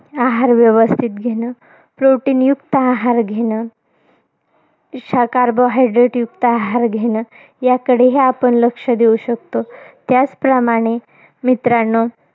आहार व्यवस्थित घेणं. Protein युक्त आहार घेणं. शाकाहार, carbohydrates युक्त आहार घेणं. याकडेही आपण लक्ष देऊ शकतो. त्याचप्रमाणे मित्रांनो.